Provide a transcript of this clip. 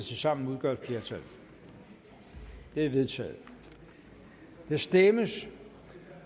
tilsammen udgør et flertal det er vedtaget der stemmes